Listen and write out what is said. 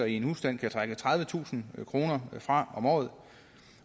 i en husstand kan trække tredivetusind kroner fra om året